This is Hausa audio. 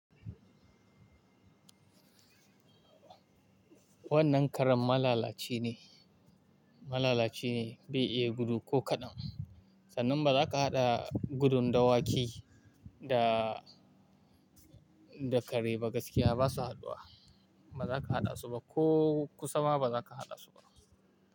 Wannan karen malalaci ne, malalaci ne bai iya gudu ko kaɗan. Sanan ba za ka haɗa gudun dawaki da, da kare ba gaskiya ba su haddu ba. Ba za ka haɗa su ba ko ku sama ba za ka haɗa su ba.